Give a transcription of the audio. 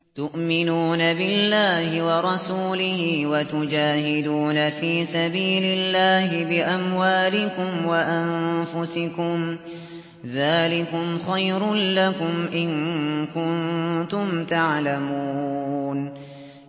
تُؤْمِنُونَ بِاللَّهِ وَرَسُولِهِ وَتُجَاهِدُونَ فِي سَبِيلِ اللَّهِ بِأَمْوَالِكُمْ وَأَنفُسِكُمْ ۚ ذَٰلِكُمْ خَيْرٌ لَّكُمْ إِن كُنتُمْ تَعْلَمُونَ